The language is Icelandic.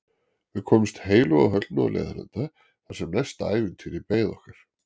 Við komumst heilu og höldnu á leiðarenda þar sem næsta ævintýri beið okkar.